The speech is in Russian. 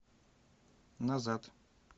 назад